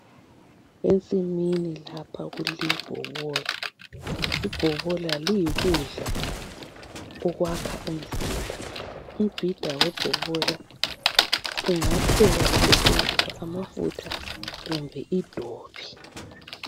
Ensimini lapha kulebhobola. Ibhobola liyikudla okwakha umzimba. Umbida webhobola ungaphekwa kusetshenziswa amafutha kumbe idobi